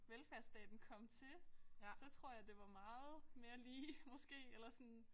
Velfærdsstaten kom til så tror jeg det var meget mere lige måske eller sådan